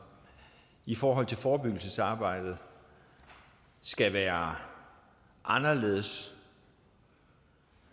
i forhold til forebyggelsesarbejdet skal være anderledes